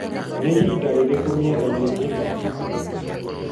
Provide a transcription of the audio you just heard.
Nĩ ihinda rĩrĩkũ rĩrĩ miena-inĩ ino?